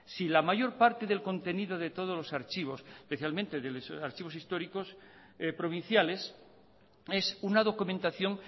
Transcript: si la mayor parte del contenido de todos los archivos especialmente de los archivos históricos provinciales es una documentación